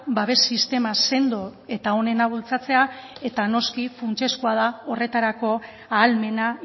babes sistema sendo eta onena bultzatzea eta noski funtsezkoa da horretarako ahalmena